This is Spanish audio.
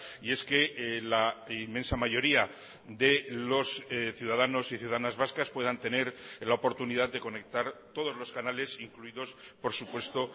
y es que la inmensa mayoría de los ciudadanos y ciudadanas vascas puedan tener la oportunidad de conectar todos los canales incluidos por supuesto